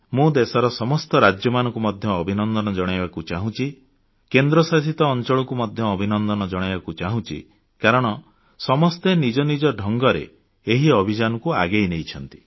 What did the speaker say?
ମୁଁ ଦେଶର ସମସ୍ତ ରାଜ୍ୟକୁ ଅଭିନନ୍ଦନ ଜଣାଇବାକୁ ଚାହୁଁଛି କେନ୍ଦ୍ର ଶାସିତ ଅଂଚଳମାନଙ୍କୁ ମଧ୍ୟ ଅଭିନନ୍ଦନ ଜଣାଇବାକୁ ଚାହୁଁଛି କାରଣ ସମସ୍ତେ ନିଜ ନିଜ ଢଙ୍ଗରେ ଏହି ଅଭିଯାନକୁ ଆଗେଇ ନେଇଛନ୍ତି